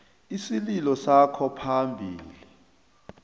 isililo sakho phambili